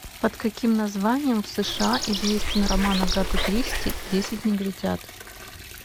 под каким названием в сша известен роман агаты кристи десять негритят